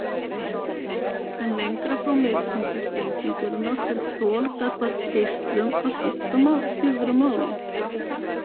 En lengra frá miðpunkti sprengingarinnar fer þol gagnvart geislun að skipta lífverur máli.